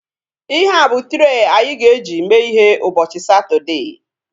Ihea bụ trei anyị ga-eji mee ihe ụbọchị Satọdee